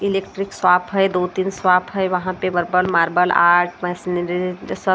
electric swap है दो तीन स्वाप है वहाँ पे वर्बल मार्बल आर्ट मैशन--